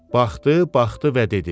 Baxdı, baxdı və dedi: